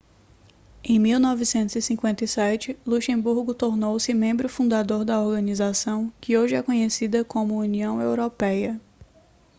em 1957 luxemburgo tornou-se membro fundador da organização que hoje é conhecida como união europeia